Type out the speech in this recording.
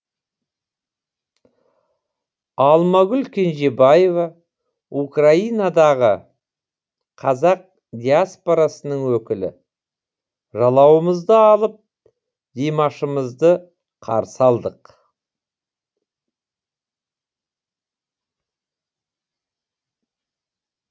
алмагүл кенжебаева украинадағы қазақ диаспорасының өкілі жалауымызды алып димашымызды қарсы алдық